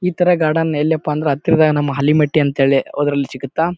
ಈ ತರ ಗಾರ್ಡನ್ ಎಲ್ಲಿ ಅಪ ಅಂದ್ರೆ ಹತ್ತಿರದ ನಮ್ಮ ಹಳ್ಳಿಮಟ್ಟೆ ಅಂಥೇಳಿ ಅದ್ರಲ್ಸಿಗತ್ತಾ.